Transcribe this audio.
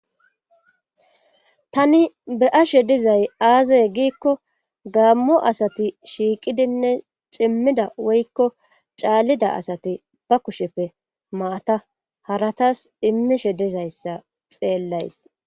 Tani be'ashe dizay aazaye giikko gaammo asati shiiqidinne cimmida woykko caallida asati ba kusheppe maata haratas immishe dizayssa xeellays.